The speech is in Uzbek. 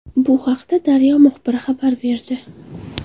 Bu haqda Daryo muxbiri xabar berdi.